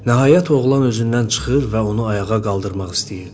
Nəhayət, oğlan özündən çıxır və onu ayağa qaldırmaq istəyirdi.